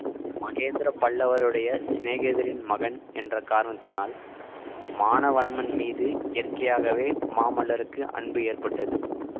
மகேந்திர பல்லவருடைய சிநேகிதரின் மகன் என்ற காரணத்தினால் மானவன்மன் மீது இயற்கையாகவே மாமல்லருக்கு அன்பு ஏற்பட்டது